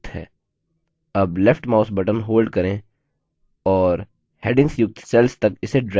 अब left mouse button hold करें और headings युक्त cells तक इसे drag करें